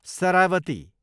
Saravati